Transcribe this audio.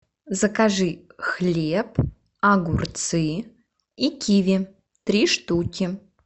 закажи хлеб огурцы и киви три штуки